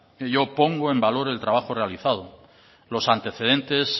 y yo pongo en valor el trabajo realizado los antecedentes